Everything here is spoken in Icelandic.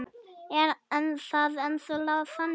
Er það ennþá þannig?